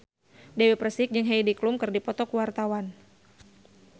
Dewi Persik jeung Heidi Klum keur dipoto ku wartawan